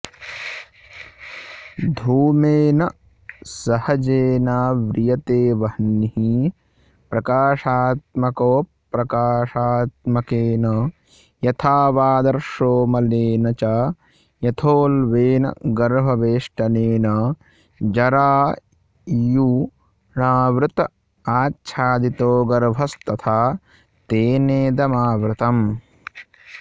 धूमेन सहजेनाव्रियते वह्निः प्रकाशात्मकोऽप्रकाशात्मकेन यथा वाऽऽदर्शो मलेन च यथोल्बेन गर्भवेष्टनेन जरायुणावृतआच्छादितो गर्भस्तथा तेनेदमावृतम्